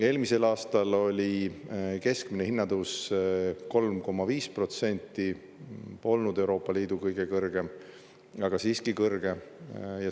Eelmisel aastal oli keskmine hinnatõus 3,5% – polnud Euroopa Liidu kõige kõrgem, aga siiski kõrge.